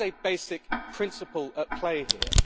This is a basic principle at play here.